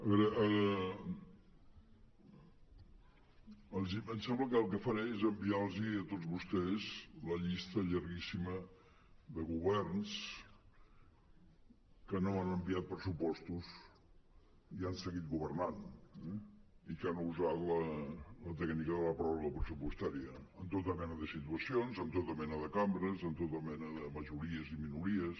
a veure em sembla que el que faré és enviar los a tots vostès la llista llarguíssima de governs que no han enviat pressupostos i han seguit governant eh i que han usat la tècnica de la pròrroga pressupostària en tota mena de situacions en tota mena de cambres amb tota mena de majories i minories